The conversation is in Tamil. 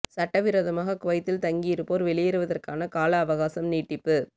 சட்ட விரோதமாக குவைத்தில் தங்கியிருப்போர் வெளியேறுவதற்கான கால அவகாசம் நீடிப்பு